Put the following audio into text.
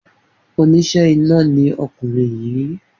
Oníṣẹ́ iná ni ọkùnrin yìí.